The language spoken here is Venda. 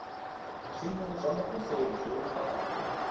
zwino zwa muvhuso zwo lumbaho